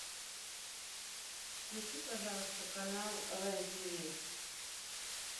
включи пожалуйста канал рен ти ви